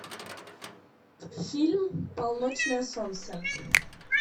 фильм полночное солнце